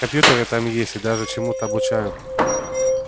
компьютеры там есть и даже чему-то обучают